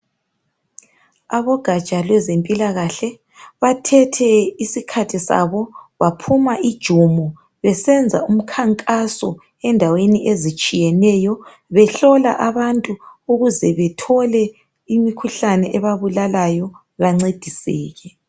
Abogaja lwezempilakahle ,bathethe isikhathi sabo .baphuma ijumo besenza umkhankaso endaweni ezitshiyeneyo behlola abantu ukuze bethole imikhuhlane ebabulalayo bancediseke.